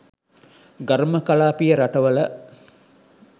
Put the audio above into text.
ඝර්ම කලාපීය රටවල